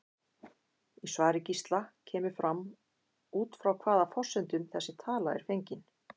Í svari Gísla kemur fram út frá hvaða forsendum þessi tala er fengin.